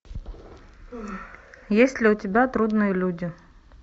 есть ли у тебя трудные люди